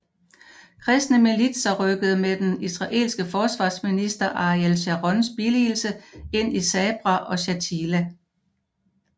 Kristne militser rykkede med den israelske forsvarsminister Ariel Sharons billigelse ind i Sabra og Shatila